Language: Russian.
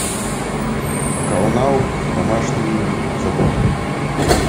канал домашние заботы